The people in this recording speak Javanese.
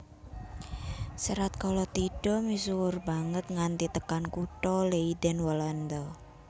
Serat Kalatidha misuwur banget nganti tekan kutha Leiden Walanda